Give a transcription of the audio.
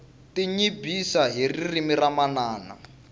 tinyibyisa hi ririmi ra manana